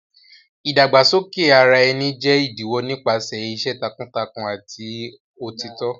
Ìdàgbàsókè ara ẹni jẹ́ ìdíwọ́ nípasẹ̀ iṣẹ́ takuntakun àti òtítọ́.